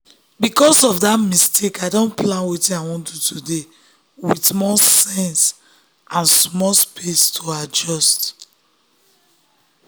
because of that mistake i don plan wetin i wan do today with more sense and small space to adjust.